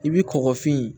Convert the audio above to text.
I bi kɔkɔfin